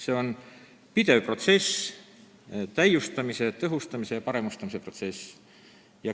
See on pidev protsess, täiustamise, tõhustamise ja paremustamise protsess.